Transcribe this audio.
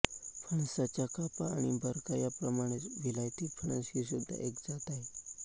फणसाच्या कापा आणि बरका याप्रमाणेच विलायती फणस हीसुद्धा एक जात आहे